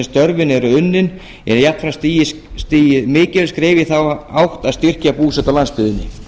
störfin eru unnin er jafnframt stigið mikilvægt skref í þá átt að styrkja búsetu á landsbyggðinni